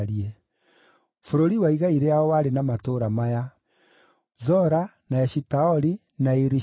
Bũrũri wa igai rĩao warĩ na matũũra maya: Zora, na Eshitaoli, na Iri-Shemeshu,